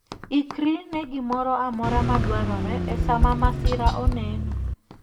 Ikri ne gimoro amora ma dwarore e sa ma masira oneno.